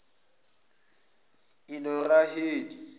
enoraheli